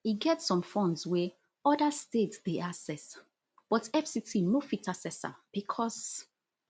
e get some funds wey oda states dey access but fct no fit access am becos